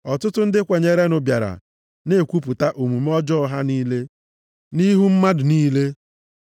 Ọtụtụ ndị kwenyerenụ bịara na-ekwupụta omume ọjọọ ha niile, nʼihu mmadụ niile.